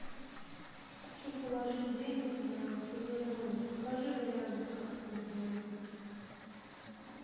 хочу положить денег на чужой номер покажи варианты как это сделать